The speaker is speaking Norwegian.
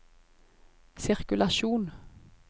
sirkulasjon